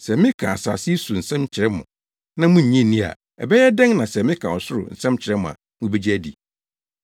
Sɛ meka asase yi so nsɛm kyerɛ mo na munnye nni a, ɛbɛyɛ dɛn na sɛ meka ɔsoro nsɛm kyerɛ mo a mubegye adi?